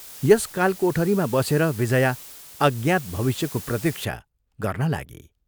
यस कालकोठरीमा बसेर विजया अज्ञात भविष्यको प्रतीक्षा गर्न लागी।